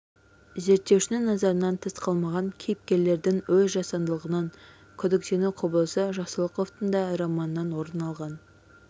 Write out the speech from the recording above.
зерттеушінің назарынан тыс қалмаған кейіпкерлердің өз жасандылығынан күдіктену құбылысы жақсылықовтың да романынан орын алған